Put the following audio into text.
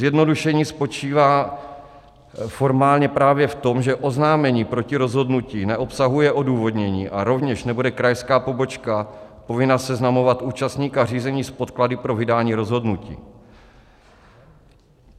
Zjednodušení spočívá formálně právě v tom, že oznámení proti rozhodnutí neobsahuje odůvodnění, a rovněž nebude krajská pobočka povinna seznamovat účastníka řízení s podklady pro vydání rozhodnutí.